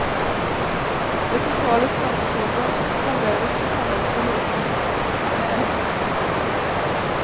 Det totale strømbehovet halveres i forhold til et hus med elektrisk oppvarming.